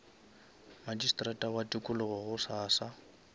magistrata wa tikologo gosasa